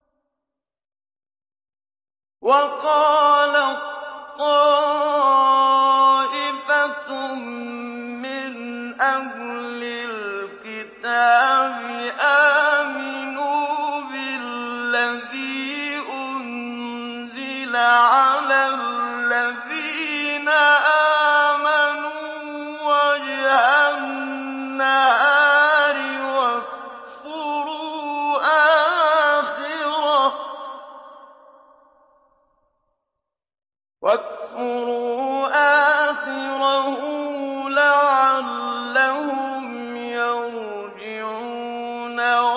وَقَالَت طَّائِفَةٌ مِّنْ أَهْلِ الْكِتَابِ آمِنُوا بِالَّذِي أُنزِلَ عَلَى الَّذِينَ آمَنُوا وَجْهَ النَّهَارِ وَاكْفُرُوا آخِرَهُ لَعَلَّهُمْ يَرْجِعُونَ